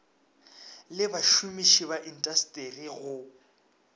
le bašomiši ba intasteri go